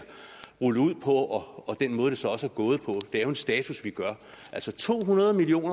rullet ud på og den måde det så også er gået på det er jo en status vi gør altså to hundrede million